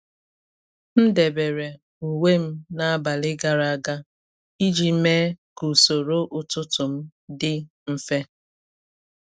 M debere uwe m n’abalị gara aga iji mee ka usoro ụtụtụ m dị mfe.